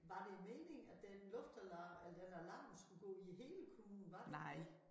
Var det meningen at den luftalarm eller den alarm skulle gå i hele æ kommune var det ikke det?